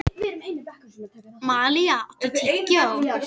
Malía, áttu tyggjó?